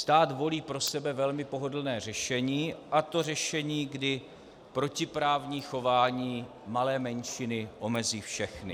Stát volí pro sebe velmi pohodlné řešení, a to řešení, kdy protiprávní chování malé menšiny omezí všechny.